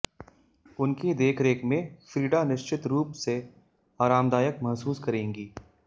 उनकी देखरेख में फ्रीडा निश्चित रूप से आरामदायक महसूस करेंगी